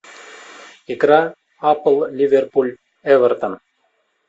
игра апл ливерпуль эвертон